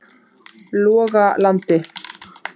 Logalandi